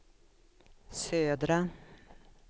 södra